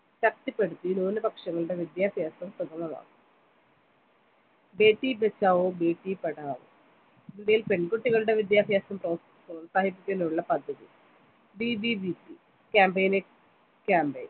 ശക്തിപ്പെടുത്തി ന്യുനപക്ഷങ്ങളുടെ വിദ്യാഭ്യാസം സുഖമമാവും ബേട്ടി ബചാവോ ബേട്ടി പഠാവൊ ഇന്ത്യയിൽ പെൺകുട്ടികളുടെ വിദ്യാഭ്യാസം പ്രോത്സ പ്രോത്സാഹിപ്പിക്കുന്നതിനുള്ള പദ്ദതി BBBPcampaign നെ campaign